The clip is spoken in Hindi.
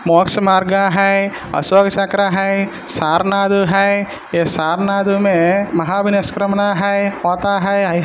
मोक्ष मार्ग है अशोक चक्र आहे. सरनाधु है ये सर नधू मे महाविनिष्क्रमना है --